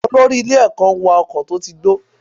Olórí ilé ẹ̀kọ́ ń wa ọkọ̀ tó ti gbó.